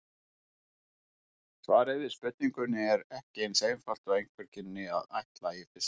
Svarið við spurningunni er ekki eins einfalt og einhver kynni að ætla í fyrstu.